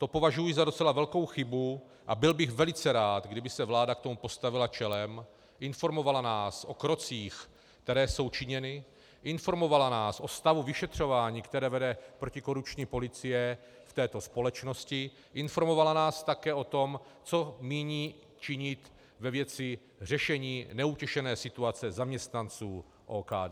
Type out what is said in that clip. To považuji za docela velkou chybu a byl bych velice rád, kdyby se vláda k tomu postavila čelem, informovala nás o krocích, které jsou činěny, informovala nás o stavu vyšetřování, které vede protikorupční policie v této společnosti, informovala nás také o tom, co míní činit ve věci řešení neutěšené situace zaměstnanců OKD.